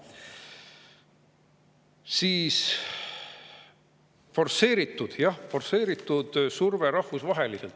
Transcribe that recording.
Siis forsseeritud – jah, forsseeritud – surve rahvusvaheliselt.